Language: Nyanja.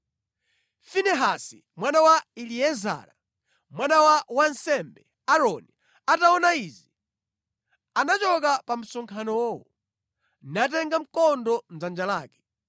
Finehasi mwana wa Eliezara, mwana wa wansembe Aaroni ataona izi, anachoka pa msonkhanowo, natenga mkondo mʼdzanja lake.